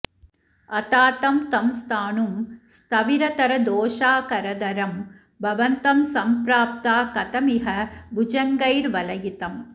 अतातं तं स्थाणुं स्थविरतरदोषाकरधरं भवन्तं सम्प्राप्ता कथमिह भुजङ्गैर्वलयितम्